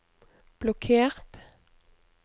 blokkert